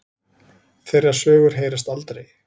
Þeirra sögur heyrast aldrei.